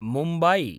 Mumbai